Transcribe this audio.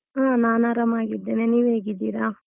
ಹಾ ನಾನ್ ಆರಾಮಾಗಿದ್ದೇನೆ, ನೀವ್ ಹೇಗಿದ್ದೀರಾ?